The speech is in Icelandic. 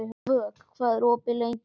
Vök, hvað er opið lengi á sunnudaginn?